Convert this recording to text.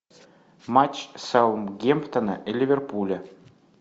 матч саутгемптона и ливерпуля